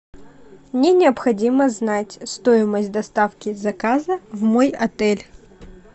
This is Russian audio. мне необходимо знать стоимость доставки заказа в мой отель